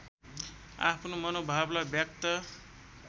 आफ्नो मनोभावलाई व्यक्त